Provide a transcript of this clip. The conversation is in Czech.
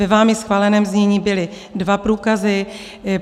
Ve vámi schváleném znění byly dva průkazy.